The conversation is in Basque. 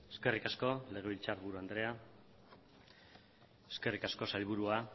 eskerrik asko legebiltzarburu andrea eskerrik asko sailburua